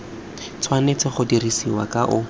tshwanetse go dirisiwa ka o